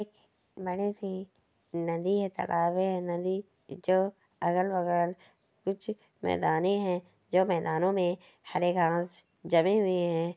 बड़ी सी नदी है तलाब है नदी जो अगल बगल कुछ मैदाने है जो मैदानों में हरे घास जमे हुए है।